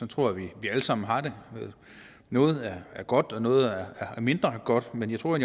tror jeg vi alle sammen har det noget er godt og noget er mindre godt men jeg tror